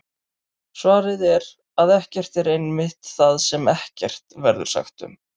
Svarið er að ekkert er einmitt það sem ekkert verður sagt um!